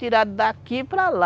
Tiraram daqui para lá.